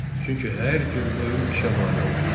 Çünki hər cür oyun işə mane olur.